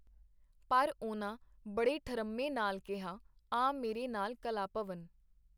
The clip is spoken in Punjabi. ਪਰ ਉਹਨਾਂ ਬੜੇ ਠਰੰਮੇ ਨਾਲ ਕੀਹਾ, ਆ ਮੇਰੇ ਨਾਲ ਕਲਾ-ਭਵਨ.